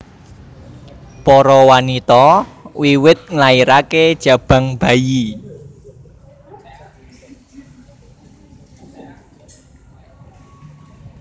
Para wanita wiwit nglairaké jabang bayi